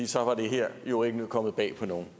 så var det her jo ikke kommet bag på nogen